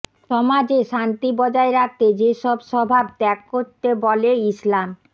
সমাজে শান্তি বজায় রাখতে যেসব স্বভাব ত্যাগ করতে বলে ইসলাম